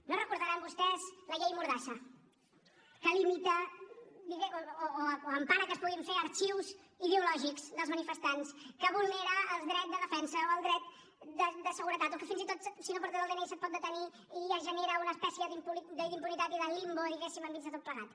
no deuen recordar vostès la llei mordassa que limita o empara que es puguin fer arxius ideològics dels manifestants que vulnera el dret de defensa o el dret de seguretat o que fins i tot si no portes el dni se’t pot detenir i es genera una espècie d’impunitat i de limbo diguéssim enmig de tot plegat